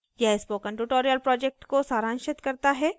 यह spoken tutorial project को सारांशित करता है